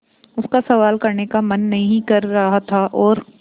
उसका सवाल करने का मन नहीं कर रहा था और